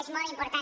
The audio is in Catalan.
és molt important